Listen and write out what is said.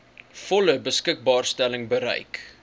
volle beskikbaarstelling bereik